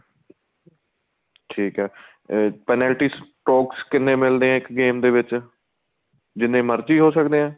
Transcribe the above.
ਠੀਕ ਏ ਅਹ penalty stocks ਕਿੰਨੇ ਮਿਲਦੇ ਏ ਇੱਕ game ਦੇ ਵਿੱਚ ਜਿੰਨੇ ਮਰਜੀ ਹੋ ਸਕਦੇ ਏ